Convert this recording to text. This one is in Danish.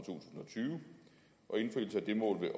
tyve og indfrielsen af det må vel